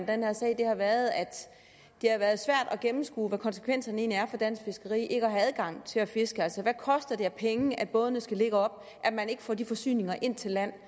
den her sag har været at det har været svært at gennemskue hvad konsekvenserne egentlig er for dansk fiskeri at have adgang til at fiske altså hvad koster det i penge at bådene skal ligge oppe at man ikke får de forsyninger ind til land